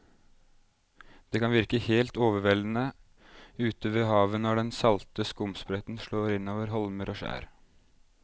Det kan virke helt overveldende ute ved havet når den salte skumsprøyten slår innover holmer og skjær.